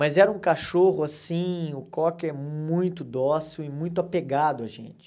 Mas era um cachorro, assim, o cocker muito dócil e muito apegado a gente.